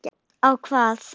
Á hvað?